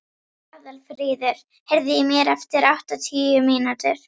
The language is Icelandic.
Aðalfríður, heyrðu í mér eftir áttatíu mínútur.